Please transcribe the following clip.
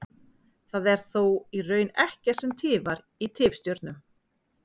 það er þó í raun ekkert sem tifar í tifstjörnum